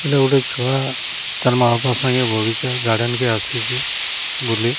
ଏଇଟା ଗୋଟେ ଛୁଆ ତାର୍ ମାଆ ବାପା ସାଙ୍ଗେ ବଗିଚା ଗାର୍ଡେନ କେ ଆସିଚି ବୁଲି।